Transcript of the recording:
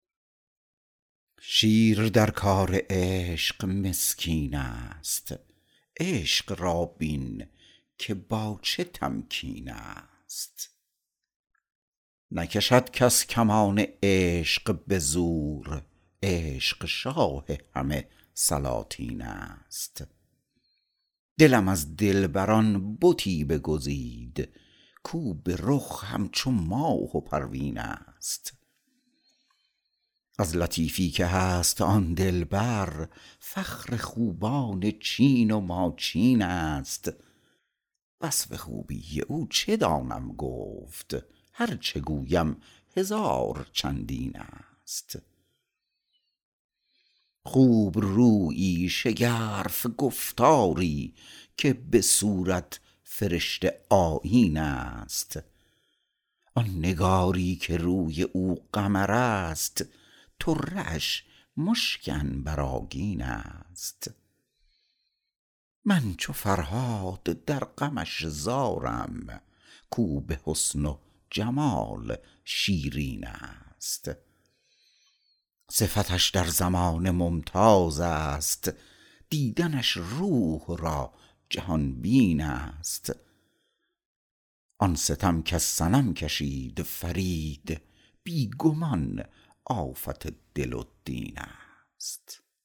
شیر در کار عشق مسکین است عشق را بین که با چه تمکین است نکشد کس کمان عشق به زور عشق شاه همه سلاطین است دلم از دلبران بتی بگزید کو به رخ همچو ماه و پروین است از لطیفی که هست آن دلبر فخر خوبان چین و ماچین است وصف خوبی او چه دانم گفت هرچه گویم هزار چندین است خوب رویی شگرف گفتاری که به صورت فرشته آیین است آن نگاری که روی او قمر است طره اش مشک عنبرآگین است من چو فرهاد در غمش زارم کو به حسن و جمال شیرین است صفتش در زمانه ممتاز است دیدنش روح را جهان بین است آن ستم کز صنم کشید فرید بی گمان آفت دل و دین است